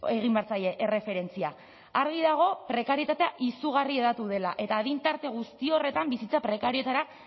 egin behar zaie erreferentzia argi dago prekarietatea izugarri hedatu dela eta adin tarte guzti horretan bizitza prekarioetara